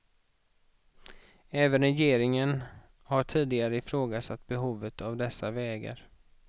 Även regeringen har tidigare ifrågasatt behovet av dessa vägar.